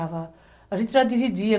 A gente já dividia.